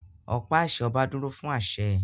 Ọ̀pá àṣẹ ọba dúró fún àṣẹ